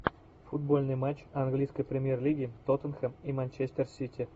футбольный матч английской премьер лиги тоттенхэм и манчестер сити